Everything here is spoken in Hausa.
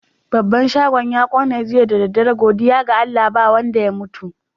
Babban shagon ya ƙone jiya da dare. Godiya ga Allah ba wanda ya mutu.